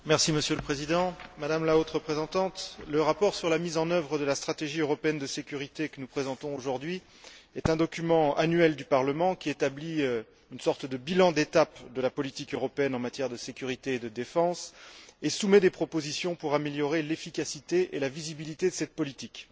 Monsieur le Président, Madame la Haute représentante, le rapport sur la mise en œuvre de la stratégie européenne de sécurité que nous présentons aujourd'hui est un document annuel du Parlement qui établit une sorte de bilan d'étape de la politique européenne en matière de sécurité et de défense et soumet des propositions pour améliorer l'efficacité et la visibilité de cette politique.